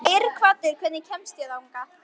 Geirhvatur, hvernig kemst ég þangað?